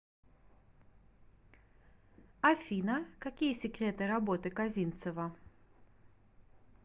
афина какие секреты работы козинцева